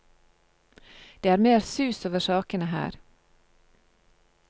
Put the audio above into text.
Det er mer sus over sakene her.